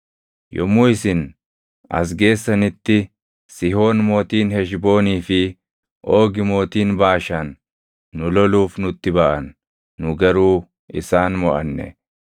Yommuu isin as geessanitti Sihoon mootiin Heshboonii fi Oogi mootiin Baashaan nu loluuf nutti baʼan; nu garuu isaan moʼanne.